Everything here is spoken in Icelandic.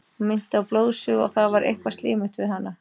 Hún minnti á blóðsugu og það var eitthvað slímugt við hana.